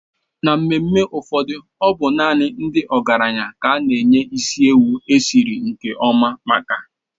N'emume ụfọdụ ọ bụ naanị ndị ọgaranya ka a na-enye isi ewu esiri nke ọma maka.